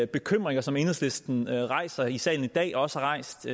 bekymringer som enhedslisten rejser i salen i dag og også har rejst